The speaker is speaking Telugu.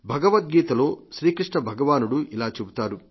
భగవద్గీతలో శ్రీ కృష్ణ భగవానుడు ఇలా చెబుతారు